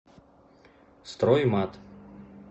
строймат